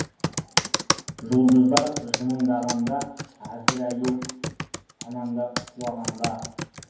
жұлдыздар жымыңдағанда әзірәйел санаңда шулағанда